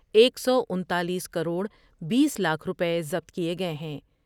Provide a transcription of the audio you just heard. ایک سو انتالیس کروڑ بیس لاکھ روپے ضبط کئے گئے ہیں ۔